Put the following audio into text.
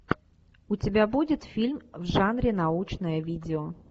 у тебя будет фильм в жанре научное видео